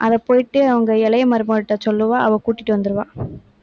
அதை போயிட்டு அவங்க இளைய மருமககிட்ட சொல்லுவா. அவ கூட்டிட்டு வந்துருவா.